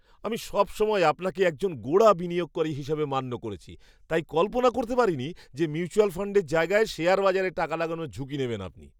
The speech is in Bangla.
আমি সবসময় আপনাকে একজন গোঁড়া বিনিয়োগকারী হিসাবে মান্য করেছি তাই কল্পনা করতে পারিনি যে মিউচুয়াল ফাণ্ডের জায়গায় শেয়ার বাজারে টাকা লাগানোর ঝুঁকি নেবেন আপনি!